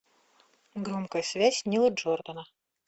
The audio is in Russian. громкая связь нила джордана